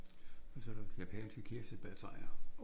Og så er der japanske kirsebærtræer